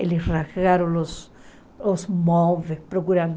Eles rasgaram os os móveis procurando.